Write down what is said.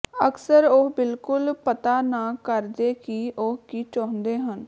ਅਕਸਰ ਉਹ ਬਿਲਕੁਲ ਪਤਾ ਨਾ ਕਰਦੇ ਕਿ ਉਹ ਕੀ ਚਾਹੁੰਦੇ ਹਨ